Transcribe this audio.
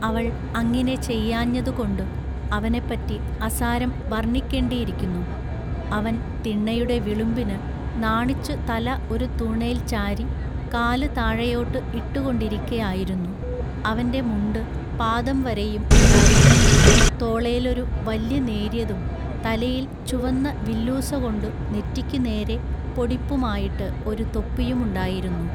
അവൾ അങ്ങിനെ ചെയ്യാഞ്ഞതുകൊണ്ടുഅവനെപ്പറ്റി അസാരം വൎണ്ണിക്കെണ്ടിയിരിക്കുന്നു അവൻ തിണ്ണയുടെ വിളുമ്പിനു നാണിച്ചു തല ഒരു തുണേൽ ചാരി കാലുതാഴെയോട്ടു ഇട്ടുകൊണ്ടിരിക്കയായിരുന്നു അവന്റെ മുണ്ടുപാദംവരെയും ഉണ്ടായിരുന്നു തോളേലൊരു വല്യ നേൎയ്യതും തലയിൽ ചുവന്ന വില്ലൂസകൊണ്ടു നെറ്റിക്കു നേരെ പൊടിപ്പുമായിട്ടു ഒരു തൊപ്പിയുമുണ്ടായിരുന്നു.